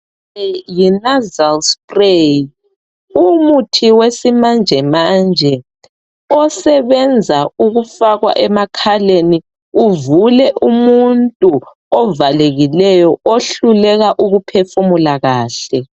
Le yi nasal spray umuthi wesimanjemanje osebenza ukufakwa emakhaleni uvule umuntu ovalekileyo ohluleka ukuphefumula kahle